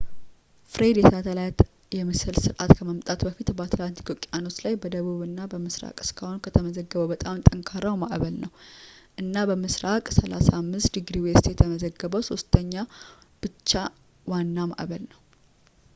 ፍሬድ የሳተላይት የምስል ስርአት ከመምጣቱ በኋላ በአትላንቲክ ውቅያኖስ ላይ በደቡብ እና ምስራቅ እስካሁን ከተመዘገበው በጣም ጠንካራው ማዕበል ነው፣ እና በምስራቅ 35 °w የተመዘገበው ሶስተኛው ብቻ ዋና ማዕበል ነው